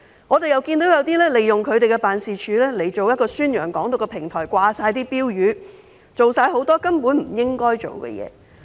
我們又看到有些人利用自己的辦事處作為宣揚"港獨"的平台，掛滿標語，做了很多根本不應做的事。